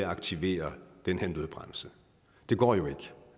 aktivere den her nødbremse det går jo ikke